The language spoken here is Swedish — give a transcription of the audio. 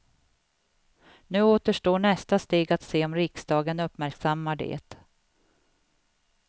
Nu återstår nästa steg att se om riksdagen uppmärksammar det.